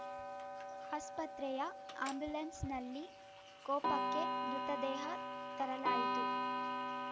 ಆಸ್ಪತ್ರೆಯ ಅಂಬ್ಯುಲೆನ್ಸ್‌ನಲ್ಲಿ ಕೊಪ್ಪಕ್ಕೆ ಮೃತದೇಹ ತರಲಾಯಿತು